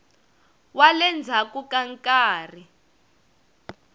wa le ndzhaku ka nkarhi